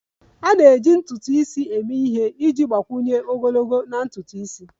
A na-eji ntutu isi eme ihe iji gbakwunye ogologo na ntutu isi.